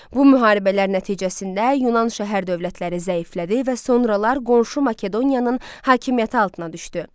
Bu müharibələr nəticəsində Yunan şəhər dövlətləri zəiflədi və sonralar qonşu Makedoniyanın hakimiyyəti altına düşdü.